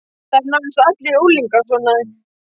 Það eru nánast allir unglingar svona.